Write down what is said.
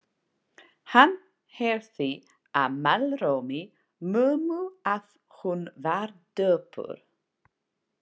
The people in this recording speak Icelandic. Hann heyrði á málrómi mömmu að hún var döpur.